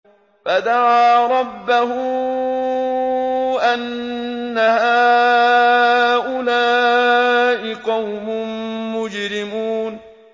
فَدَعَا رَبَّهُ أَنَّ هَٰؤُلَاءِ قَوْمٌ مُّجْرِمُونَ